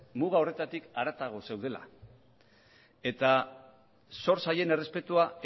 muga horretatik harago zeudela eta zor zaien errespetua